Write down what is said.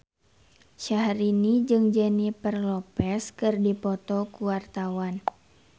Syahrini jeung Jennifer Lopez keur dipoto ku wartawan